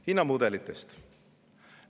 Hinnamudelitest.